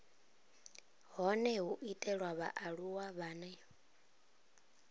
hone ho itelwa vhaaluwa vhane